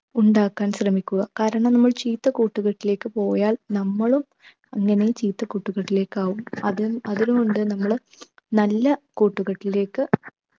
ഉണ്ടാക്കാൻ ശ്രമിക്കുക കാരണം നമ്മൾ ചീത്ത കൂട്ടുകെട്ടിലേക്ക് പോയാൽ നമ്മളും അങ്ങനെ ചീത്ത കൂട്ടുകെട്ടിലേക്കാകും അത് അതുകൊണ്ട് നമ്മൾ നല്ല കൂട്ടുകെട്ടിലേക്ക്